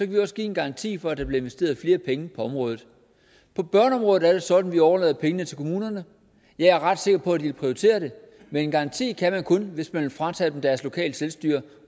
vi også give en garanti for at der bliver investeret flere penge på området på børneområdet er det sådan at vi overlader pengene til kommunerne jeg er ret sikker på at de vil prioritere det men en garanti kan man kun give hvis man vil fratage dem deres lokale selvstyre